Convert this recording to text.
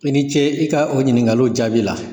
I ni ce i ka o ɲininkaliw jaabi la.